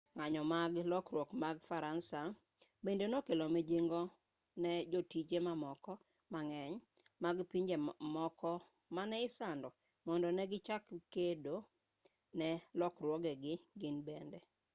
ng'anyo mag lokruok ma faransa bende nokelo mijing'o ne jotije mamoko mang'eny mag pinje moko mane isando mondo ne gichak kedo ne lokruogegi gin bende